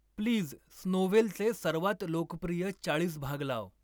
Please स्नोव्हेलचे सर्वात लोकप्रिय चाळीस भाग लाव.